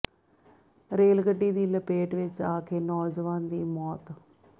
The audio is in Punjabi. ਰੇਲ ਗੱਡੀ ਦੀ ਲਪੇਟ ਵਿਚ ਆ ਕੇ ਨੌਜਵਾਨ ਦੀ ਮੌਤ